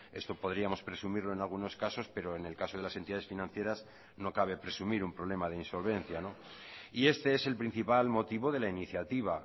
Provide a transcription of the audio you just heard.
esto podríamos presumirlo en algunos casos pero en el caso de las entidades financieras no cabe presumir un problema de insolvencia y este es el principal motivo de la iniciativa